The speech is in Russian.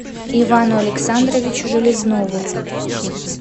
ивану александровичу железнову